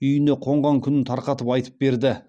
үйіне қонған күнін тарқатып айтып берді